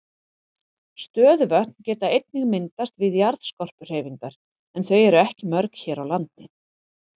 Stöðuvötn geta einnig myndast við jarðskorpuhreyfingar en þau eru ekki mörg hér á landi.